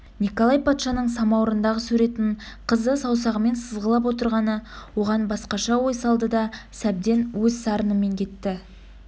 николай патшаның самауырындағы суретін қызы саусағымен сызғылап отырғаны оған басқаша ой салды да сәбден өз сарынымен кетті